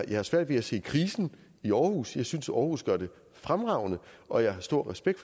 jeg har svært ved at se krisen i aarhus jeg synes aarhus gør det fremragende og jeg har stor respekt